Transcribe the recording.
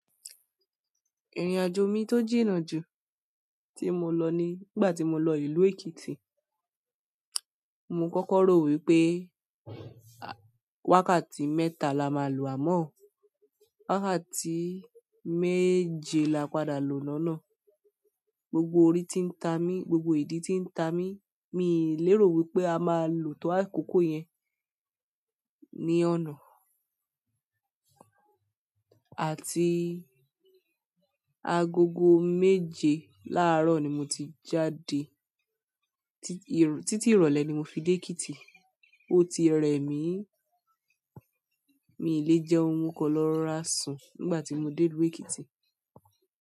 Ìrìnàjò mi tó jìnnà jù tí mo lọ ni nígbà tí mo lọ ìlú Èkìtì. Mo kọ́kọ́ rò wípé wákàtí mẹ́ta la máa lò, àmọ́ wákàtí méje la padà lo lọ́nà. Gbogbo orí tí ń ta mi, gbogbo ìdí tí ń ta mi, mi ò léro wípé a máa lò tó àkókò yẹn ní ọ̀nà. Àti agogo méje láàárọ̀ ni mo ti jáde. Tí-- títí ìrọ̀lẹ́ ni mo fi dé Èkìtì. Ó ti re mí, mi ò lè jẹun mo kan lọ́ rọ́ra sùn nígbà tí mo dé ìlú Èkìtì.